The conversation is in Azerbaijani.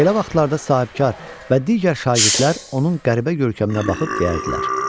Belə vaxtlarda sahibkar və digər şagirdlər onun qəribə görkəminə baxıb deyərdilər.